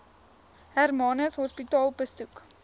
hermanus hospitaal besoek